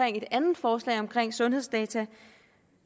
en andet forslag om sundhedsdata